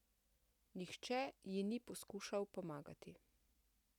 Nihče ji ni poskušal pomagati.